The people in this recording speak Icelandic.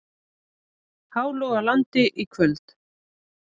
Hálogalandi í kvöld.